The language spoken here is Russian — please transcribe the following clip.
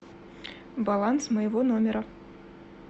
баланс моего номера